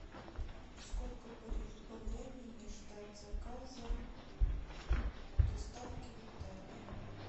сколько по времени ждать заказа доставки в отеле